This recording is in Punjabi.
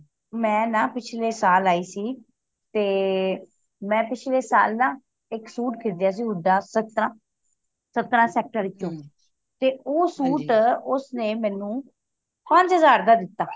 ਮੈਂ ਨਾ ਪਿਛਲੇ ਸਾਲ ਆਈ ਸੀ ਤੇ ਮੈਂ ਪਿਛਲੇ ਸਾਲ ਨਾ ਇੱਕ ਸੁਤ ਖ਼ਰੀਦਿਆ ਸੀ ਹੁੱਡਾ ਸਤਰਾਂ ਸਤਰਾਂ sector ਚੋ ਤੇ ਉਹ ਸੂਟ ਉਸਨੇ ਮੈਨੂੰ ਪੰਜ ਹਜ਼ਾਰ ਦਾ ਦਿੱਤਾ